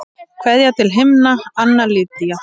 Kveðja til himna, Anna Lydía.